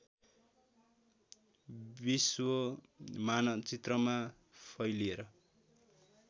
विश्व मानचित्रमा फैलिएर